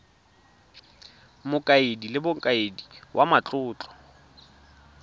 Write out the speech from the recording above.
mokaedi le mokaedi wa matlotlo